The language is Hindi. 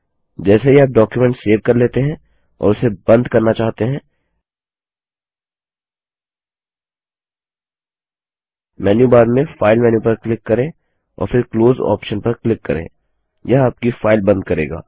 जैसे ही आप डॉक्युमेंट सेव कर लेते हैं और उसे बंद करना चाहते हैं मेन्यूबार में फाइल मेन्यू पर क्लिक करें और फिर क्लोज ऑप्शन पर क्लिक करें यह आपकी फाइल बंद करेगा